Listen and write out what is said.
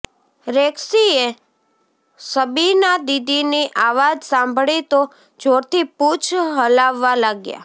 રેક્સીએ સબીના દીદીની આવાજ સાંભળી તો જોરથી પૂંછ હલાવવા લાગ્યા